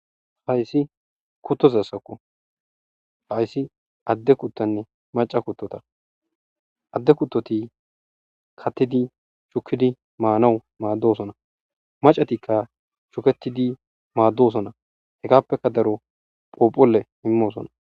Haysi kutozasoko haysi adde koteney macca kotoy do'oko adde kutotiy katidiy manewu mados'ones maccatokay shuketidiy madosonay hagepeksy daro phuphphuley imosonay.